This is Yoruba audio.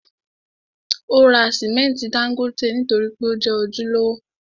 Ó ra simẹnti dángótè nítorí pé ó jẹ́ ojúlówó.